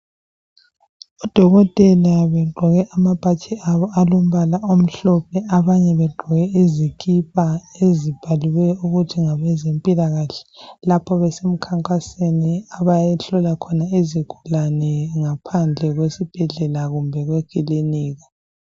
Odokotela begqoke amabhatshi abo alombala omhlophe abanye begqoke izikipa ezibhaliwe ukuthi ngabezempilakahle lapho besemkhankasweni abayehlola khona izigulane ngaphandle kwesibhedlela kumbe kwekilinika